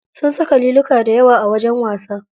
Sun saka liluka dayawa a wajen wasa.